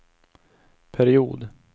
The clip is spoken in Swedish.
period